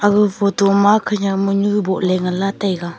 age photo khenyak manu boh ley gega.